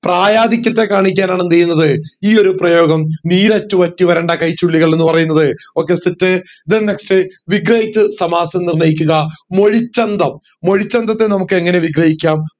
പ്രായാധിക്യത്തെ കാണിക്കാനാണ് എന്ത് ചെയ്യുന്നതെന്നു ഈ ഒരു പ്രയോഗം നീരറ്റ് വറ്റി വരണ്ട കൈചുള്ളികൾ എന്ന് പറയുന്നത് okay set then next വിഗ്രഹിച്ച്‌ സമാസം നിർണയിക്കുക മൊഴിച്ചന്തം മൊഴിച്ചന്തത്തെ നമക് എങ്ങനെ വിഗ്രഹിക്കാം